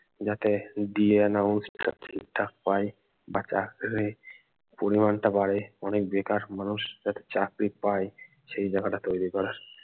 যাতে DA allowance টা ঠিকঠাক পায় বা চাকরির পরিমান টা বাড়ে অনেক বেকার মানুষ যাতে চাকরি পায় সেই জায়গাটা তৈরী করা